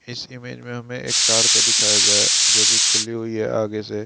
इस इमेज मे हमे एक कार को दिखाया गया है जो कि खुली हुई है आगे से।